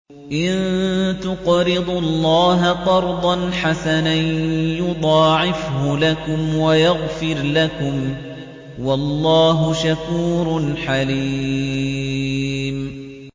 إِن تُقْرِضُوا اللَّهَ قَرْضًا حَسَنًا يُضَاعِفْهُ لَكُمْ وَيَغْفِرْ لَكُمْ ۚ وَاللَّهُ شَكُورٌ حَلِيمٌ